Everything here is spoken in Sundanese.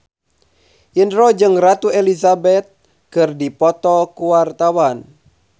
Indro jeung Ratu Elizabeth keur dipoto ku wartawan